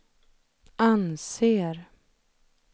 anser